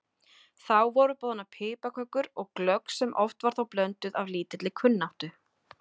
Þá voru boðnar piparkökur og glögg sem oft var þó blönduð af lítilli kunnáttu.